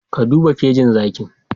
Ka duba kejin zakin